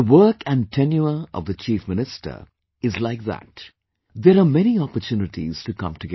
The work and tenure of the Chief Minister is like that..., there are many opportunities to come together